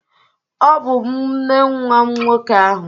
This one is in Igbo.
Ọ bụ m nne nwa nwoke ahụ